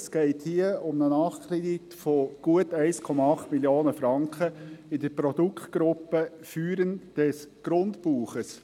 Es geht hier um einen Nachkredit von gut 1,8 Mio. Franken in der Produktegruppe «Führen des Grundbuches».